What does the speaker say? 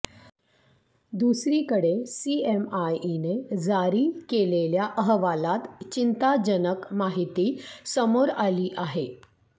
दुसरीकडे सीएमआयईने जारी केलेल्या अहवालात चिंताजनक माहिती समोर आली आहे